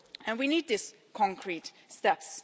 We need these concrete steps.